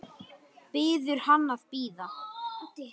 Biður hann að bíða.